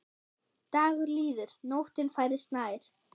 Dagur líður, nóttin færist nær.